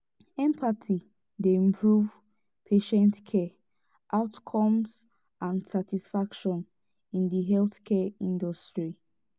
empathy dey improve patient care outcomes and satisfaction in di healthcare industry.